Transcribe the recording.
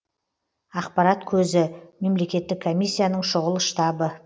ақпарат көзі мемлекеттік комиссияның шұғыл штабы